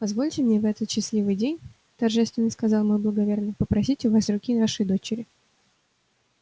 позвольте мне в этот счастливый день торжественно сказал мой благоверный попросить у вас руки вашей дочери